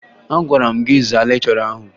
Agwara m gị zaa lekchọra ahụ!